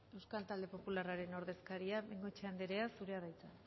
euskal talde popularraren ordezkaria bengoechea anderea zurea da hitza